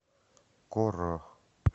коро